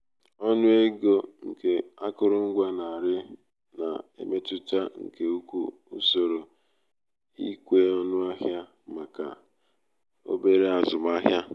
ọnụ ego nke akụrụngwa na-arị na-emetụta nke ukwuu usoro ikwe ọnụ ahịa maka obere maka obere azụmahịa